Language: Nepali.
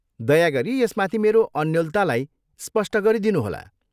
दया गरी यसमाथि मेरो अन्योलतालाई स्पष्ट गरिदिनुहोला।